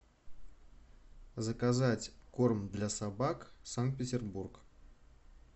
заказать корм для собак санкт петербург